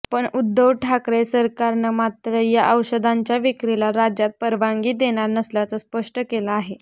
पण उद्धव ठाकरे सरकारनं मात्र या औषधाच्या विक्रीला राज्यात परवानगी देणार नसल्याचं स्पष्ट केलं आहे